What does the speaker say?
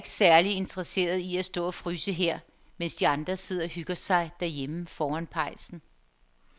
Jeg er ikke særlig interesseret i at stå og fryse her, mens de andre sidder og hygger sig derhjemme foran pejsen.